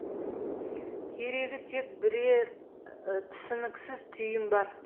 керегі тек бірер түсініксіз түйін бар